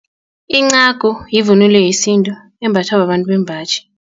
Incagu yivunulo yesintu embathwa babantu bembaji.